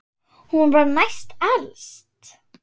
Hún var næst elst.